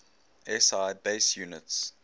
si base units